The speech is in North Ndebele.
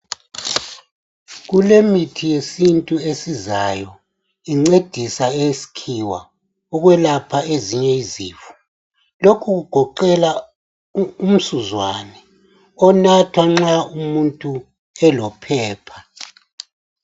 Kulemithi yesintu esizayo incedisa eyesikhiwa ukwelapha ezinye izifo. Lokhu kugoqela umsuzwane onathwa nxa umuntu elo phepha